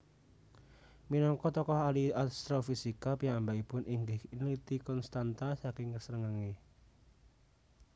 Minangka tokoh ahli astrofisika piyambakipun inggih nliti konstanta saking srengenge